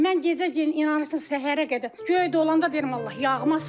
Mən gecə inanırsız səhərə qədər göy dolanda deyirəm Allah yağmasın.